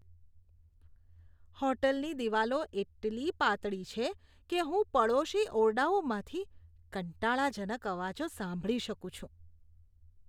હોટલની દીવાલો એટલી પાતળી છે કે હું પડોશી ઓરડાઓમાંથી કંટાળાજનક અવાજો સાંભળી શકું છું.